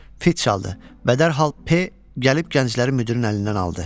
Fit çaldı və dərhal P gəlib gəncləri müdirin əlindən aldı.